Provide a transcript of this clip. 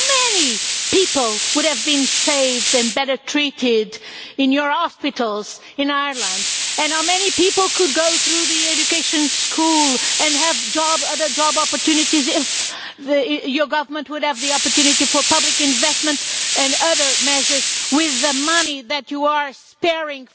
How many people would have been saved and better treated in your hospitals in Ireland? How many people could go through education and have better job opportunities if your government had the opportunity for public investment and other measures with the money that you are saving